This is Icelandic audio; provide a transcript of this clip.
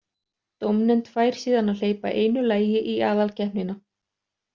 Dómnefnd fær síðan að hleypa einu lagi í aðalkeppnina.